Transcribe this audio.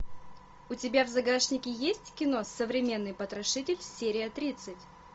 у тебя в загашнике есть кино современный потрошитель серия тридцать